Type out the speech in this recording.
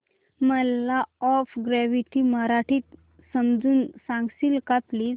मला law of gravity मराठीत समजून सांगशील का प्लीज